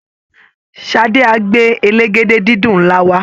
Ṣadé á gbé elégédé-dídùn ńlá wá